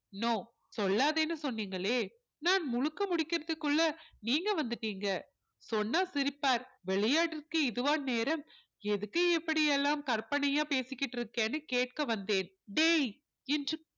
no சொல்லாதேன்னு சொன்னீங்களே நான் முழுக்க முடிக்கறதுக்குள்ள நீங்க வந்துட்டீங்க சொன்னா சிரிப்பார் விளையாட்டிற்கு இதுவா நேரம் எதுக்கு இப்படி எல்லாம் கற்பனையா பேசிக்கிட்டு இருக்கன்னு கேட்க வந்தேன் டேய் என்று